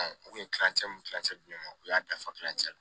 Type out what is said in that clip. U kun ye kilancɛ min kilancɛ di ne ma u y'a dafa kilancɛ la